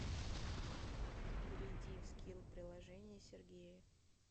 перейди в скилл приложение сергея